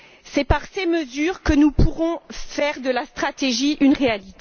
C'est par ces mesures que nous pourrons faire de la stratégie une réalité.